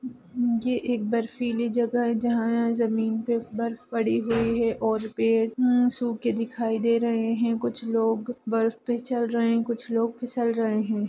मम मम ये एक बर्फीली जगह है जहाँ यहाँ जमीन पे बर्फ पड़ी हुई है और पेड़ मम सूखे दिखाई दे रहे हैं कुछ लोग बर्फ पे चल रहें कुछ लोग फिसल रहें हैं।